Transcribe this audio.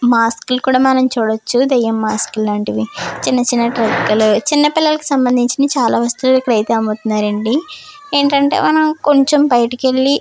మాస్కులు కూడా మనం చూడొచ్చు దెయ్యం మార్కులు ఇలాంటివి చిన్న చిన్న పిల్లలకు సంబంధించిన చాలా వస్తువులు అయితే ఇక్కడ అమ్ముతున్నారు ఏంటంటే కొంచెం మనం బయటికి వెళ్లి.